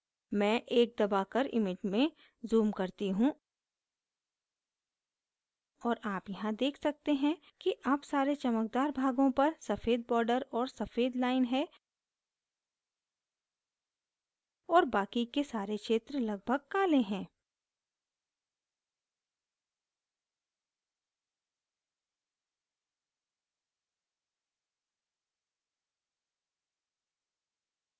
मैं 1 दबाकर image में zoom करती हूँ और आप यहाँ देख सकते हैं कि अब सारे चमकदार भागों पर सफ़ेद border और सफ़ेद line है और बाकि के सारे क्षेत्र लगभग काले हैं